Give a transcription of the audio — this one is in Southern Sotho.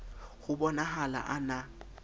ho bo nahala a na